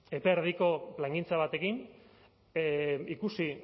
epe erdiko plangintza bat egin ikusi